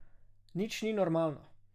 Nič ni normalno.